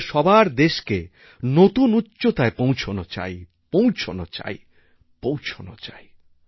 আমাদের সবার দেশকে নতুন উচ্চতায় পৌঁছনো চাই পৌঁছনো চাই পৌঁছনো চাই